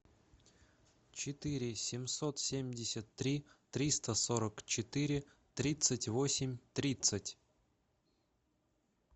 четыре семьсот семьдесят три триста сорок четыре тридцать восемь тридцать